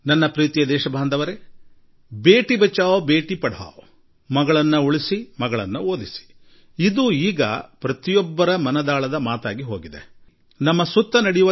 ನನ್ನ ಆತ್ಮೀಯ ದೇಶವಾಸಿಗಳೇ ನನ್ನ ಪ್ರೀತಿಯ ದೇಶವಾಸಿಗಳೆ ಮಗಳನ್ನು ಉಳಿಸಿ ಮಗಳನ್ನು ಓದಿಸಿ ಬೇಟಿ ಬಚಾವೋ ಬೇಟಿ ಪಡಾವೋ ಎಂಬುದು ಈಗ ಭಾರತದಲ್ಲಿ ಜನರ ಆಶಯ ಹಾಗೂ ಮನದ ಮಾತಾಗಿ ಹೋಗಿದೆ